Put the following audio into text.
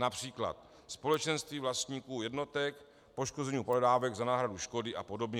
Například společenství vlastníků jednotek, poškození pohledávek za náhradu škody a podobně.